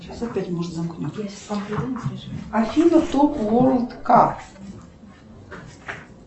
афина топ ворлд кар